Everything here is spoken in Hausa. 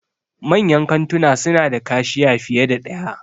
Manyan kantuna suna da kashiya fiye da ɗaya.